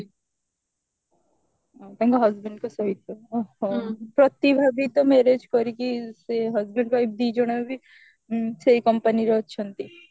ତାଙ୍କ husband ଙ୍କ ସହିତ ପ୍ରତିଭା ବି ତ marriage କରିକି ସେ husband wife ଦି ଜଣ ବି ସେଇ company ରେ ଅଛନ୍ତି